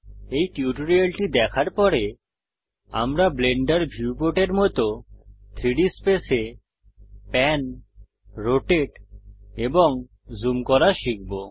এই টিউটোরিয়ালটি দেখার পরে আমরা ব্লেন্ডার ভিউপোর্ট এরমত 3ডি স্পেস এ প্যান রোটেট এবং জুম করা শিখব